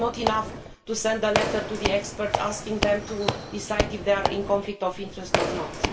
It is not enough to send a letter to the experts asking them to decide if they have a conflict of interest or